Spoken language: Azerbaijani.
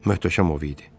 Möhtəşəm ov idi.